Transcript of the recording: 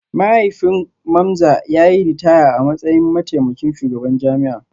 Mahaifin Mamza ya yi ritaya a matsayin mataimakin shugaban jami'a